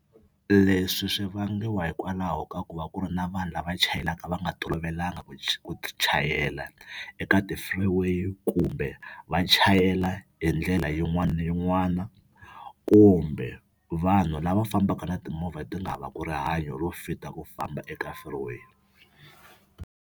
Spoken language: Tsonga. Leswi swi vangiwa hikwalaho ka ku va ku ri na vanhu lava chayelaka va nga tolovelanga ku chayela eka ti-freeway kumbe va chayela hi ndlela yin'wani na yin'wana kumbe vanhu lava fambaka na timovha ti nga havaku rihanyo ro fita ku famba eka freeway.